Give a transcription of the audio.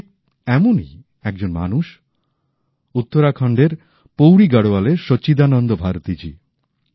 ঠিক এমনই একজন মানুষ উত্তরাখণ্ডের পৌরী গারোয়ালের সচ্চিদানন্দ ভারতী জি